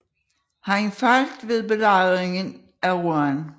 Han faldt ved belejringen af Rouen